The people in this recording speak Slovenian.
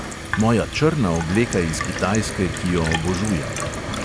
Moja črna obleka iz kitajske, ki jo obožujem.